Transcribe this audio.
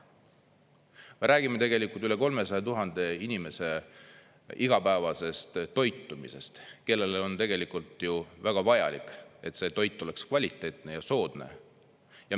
Me räägime tegelikult üle 300 000 inimese igapäevasest toitumisest, kellele on tegelikult ju väga vajalik, et see toit oleks kvaliteetne ja soodne.